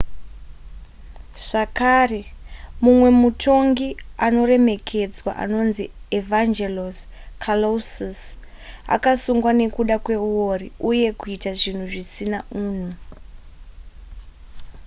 zvakare mumwe mutongi anoremekedzwa anonzi evangelos kalousis akasungwa nekuda kweuori uye kuita zvinhu zvisina unhu